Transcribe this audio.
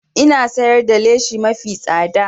Ina siyar da lashi mafi tsada